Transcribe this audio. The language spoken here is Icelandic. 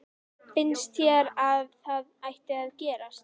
Finnst þér að það ætti að gerast?